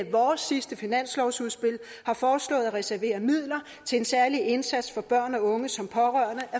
vores sidste finanslovsudspil har foreslået at reservere midler til en særlig indsats for børn og unge som pårørende